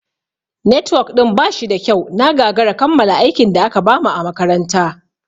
Netwok ɗin ba shida kyau, na gagara kammala aikin da aka bamu a makaranta.